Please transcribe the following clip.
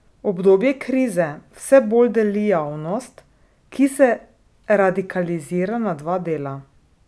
Obdobje krize vse bolj deli javnost, ki se radikalizira na dva dela.